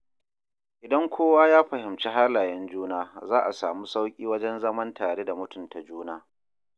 idan kowa ya fahimci halayen juna, za a samu sauƙi wajen zaman tare da mutunta juna.